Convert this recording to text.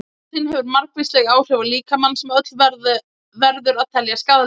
Nikótín hefur margvísleg áhrif á líkamann sem öll verður að telja skaðleg.